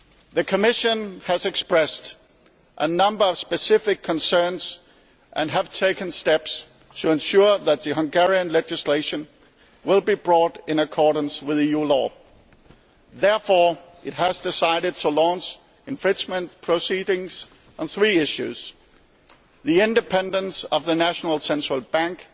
The Commission has expressed a number of specific concerns and has taken steps to ensure that the Hungarian legislation is brought into accordance with EU law. Therefore, it has decided to launch infringement proceedings on three issues the independence of the national central bank,